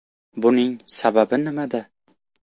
Buning sababi nimada?.